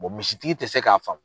misi tigi tɛ se k'a faamu.